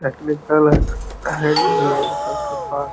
Technical hand भी है ई सब के पास।